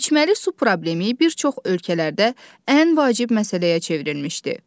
İçməli su problemi bir çox ölkələrdə ən vacib məsələyə çevrilmişdi.